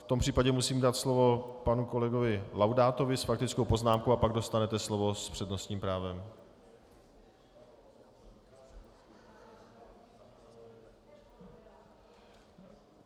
V tom případě musím dát slovo panu kolegovi Laudátovi s faktickou poznámkou, a pak dostanete slovo s přednostním právem.